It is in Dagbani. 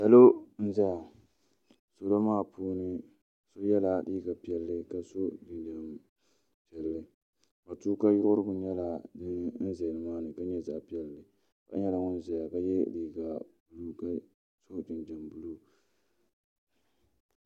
salo n-zaya salo maa puuni so yela liiga piɛlli ka sɔ jinjam piɛlli matuuka yiɣirigu nyɛla din ʒe nima ni ka nyɛ zaɣ' piɛlli so nyɛla ŋun ʒiya ka ye liiga buluu ka sɔ jinjam buluu.